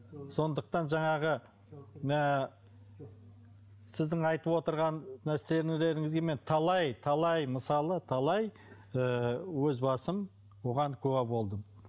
сондықтан жаңағы ыыы сіздің айтып отырған нәрселеріңізге мен талай талай мысалы талай ы өз басым бұған куә болдым